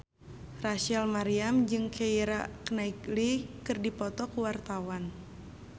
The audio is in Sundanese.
Rachel Maryam jeung Keira Knightley keur dipoto ku wartawan